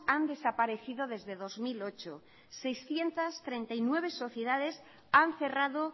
han desaparecido desde dos mil ocho seiscientos treinta y nueve sociedades han cerrado